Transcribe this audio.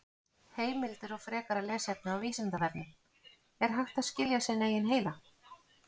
Heimildir og frekara lesefni á Vísindavefnum: Er hægt að skilja sinn eigin heila?